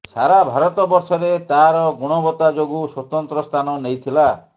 ସାରା ଭାରତ ବର୍ଷରେ ତାର ଗୁଣବତା ଯୋଗୁଁ ସ୍ୱତନ୍ତ୍ର ସ୍ଥାନ ନେଇଥିଲା